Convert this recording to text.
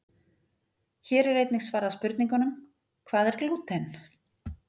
Hér er einnig svarað spurningunum: Hvað er glúten?